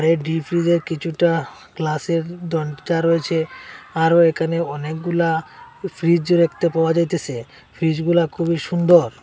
Deep ফ্রিজে কিছুটা গ্লাসের দরজা রয়েছে আরও এখানে অনেকগুলা ফ্রিজ দেখতে পাওয়া যাইতেসে ফ্রিজগুলা খুবই সুন্দর।